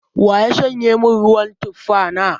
Wa ya shanye min ruwan tufa na?